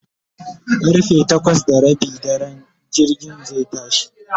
karfe takwas da Rabin dare jirgin zai tashi